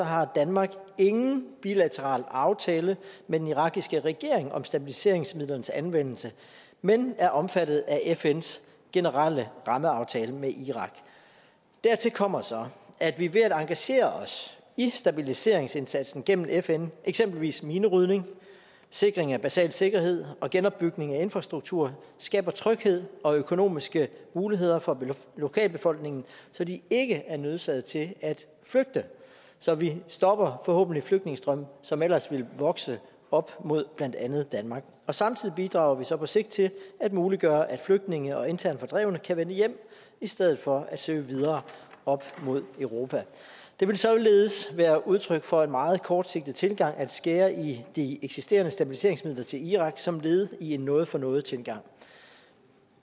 har danmark ingen bilateral aftale med den irakiske regering om stabiliseringsmidlerne anvendelse men er omfattet af fns generelle rammeaftale med irak dertil kommer så at vi ved at engagere os i stabiliseringsindsatsen gennem fn eksempelvis minerydning sikring af basal sikkerhed og genopbygning af infrastruktur skaber tryghed og økonomiske muligheder for lokalbefolkningen så de ikke er nødsaget til at flygte så vi stopper forhåbentlig flygtningestrømme som ellers ville vokse op mod blandt andet danmark og samtidig bidrager vi så på sigt til at muliggøre at flygtninge og internt fordrevne kan vende hjem i stedet for at søge videre op mod europa det ville således være udtryk for en meget kortsigtet tilgang at skære i de eksisterende stabiliseringsmidler til irak som led i en noget for noget tilgang